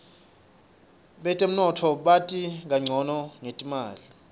betemnotfo bati kancono ngetimali